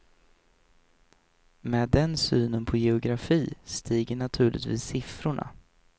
Med den synen på geografi stiger naturligtvis siffrorna.